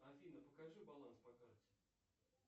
афина покажи баланс по карте